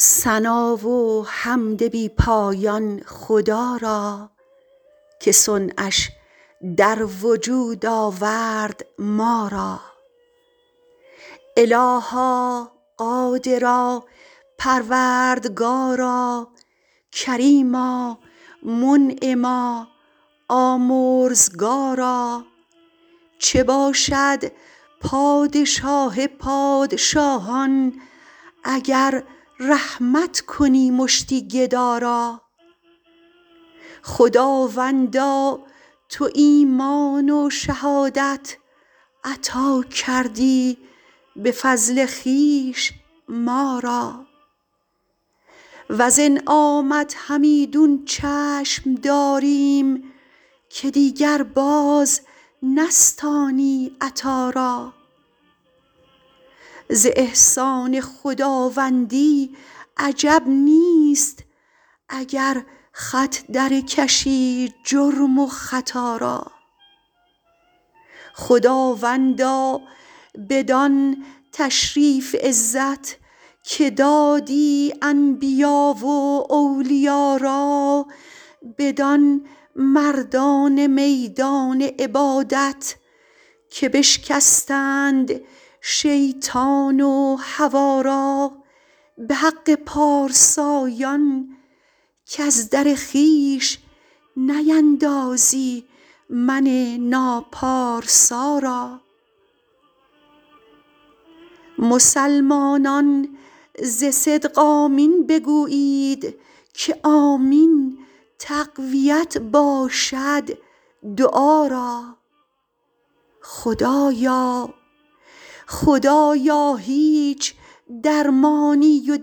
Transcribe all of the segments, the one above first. ثنا و حمد بی پایان خدا را که صنعش در وجود آورد ما را الها قادرا پروردگارا کریما منعما آمرزگارا چه باشد پادشاه پادشاهان اگر رحمت کنی مشتی گدا را خداوندا تو ایمان و شهادت عطا دادی به فضل خویش ما را وز انعامت همیدون چشم داریم که دیگر باز نستانی عطا را از احسان خداوندی عجب نیست اگر خط در کشی جرم و خطا را خداوندا بدان تشریف عزت که دادی انبیا و اولیا را بدان مردان میدان عبادت که بشکستند شیطان و هوا را به حق پارسایان کز در خویش نیندازی من ناپارسا را مسلمانان ز صدق آمین بگویید که آمین تقویت باشد دعا را خدایا هیچ درمانی و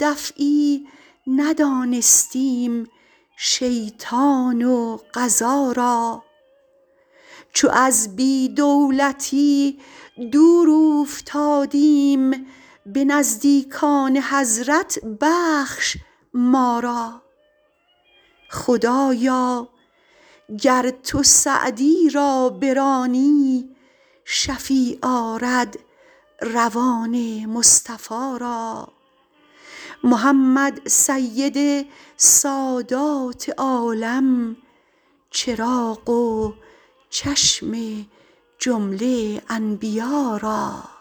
دفعی ندانستیم شیطان و قضا را چو از بی دولتی دور اوفتادیم به نزدیکان حضرت بخش ما را خدایا گر تو سعدی را برانی شفیع آرد روان مصطفی را محمد سید سادات عالم چراغ و چشم جمله انبیا را